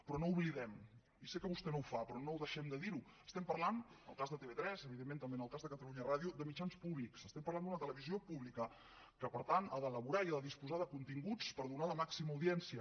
però no ho oblidem i sé que vostè no ho fa però no deixem de dir ho estem parlant en el cas de tv3 evidentment també en el cas de catalunya ràdio de mitjans públics estem parlant d’una televisió pública que per tant ha d’elaborar i ha de disposar de continguts per donar la màxima audiència